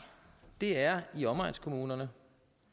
det er i omegnskommunerne